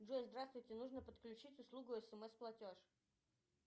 джой здравствуйте нужно подключить услугу смс платеж